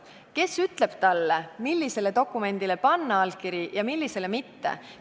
Kes ütleb talle, millisele dokumendile panna allkiri ja millisele mitte?